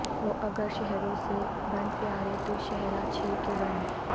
ہوں اگر شہروں سے بن پیارے توشہراچھے کہ بن